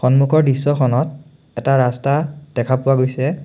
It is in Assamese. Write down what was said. সন্মুখৰ দৃশ্যখনত এটা ৰাস্তা দেখা পোৱা গৈছে।